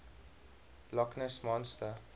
loch ness monster